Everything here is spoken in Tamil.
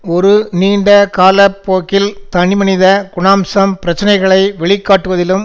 ஒரு நீண்ட கால போக்கில் தனி மனித குணாம்சம் பிரச்சனைகளை வெளி காட்டுவதிலும்